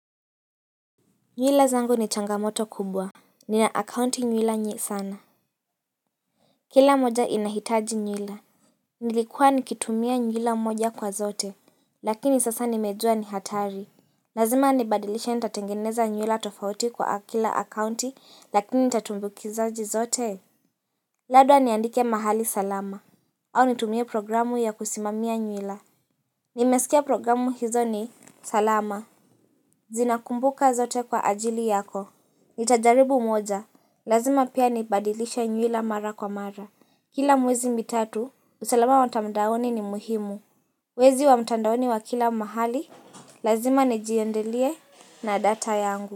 Nywila zangu ni changamoto kubwa Nina akaunti nywila nye sana Kila moja inahitaji nywila Nilikuwa nikitumia nywila moja kwa zote lakini sasa nimejua ni hatari Lazima nibadilishe nitatengeneza nywila tofauti kwa kila akaunti lakini nitatumbukizaje zote Labda niandike mahali salama au nitumie programu ya kusimamia nywila Nimesikia programu hizo ni salama Zinakumbuka zote kwa ajili yako Nitajaribu moja Lazima pia nibadilisha nywila mara kwa mara. Kila mwezi mitatu, usalama wa mtandaoni ni muhimu. Wezi wa mtandaoni wa kila mahali, lazima nijiyendelie na data yangu.